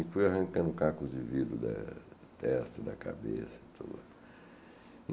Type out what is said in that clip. Fui arrancando cacos de vidro da testa, da cabeça, tudo.